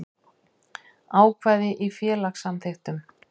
Ákvæði í félagssamþykktum.